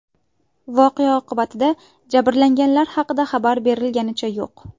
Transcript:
Voqea oqibatida jabrlanganlar haqida xabar berilganicha yo‘q.